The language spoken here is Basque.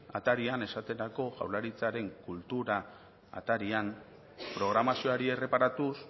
atarian esaterako jaurlaritzaren kultura atarian programazioari erreparatuz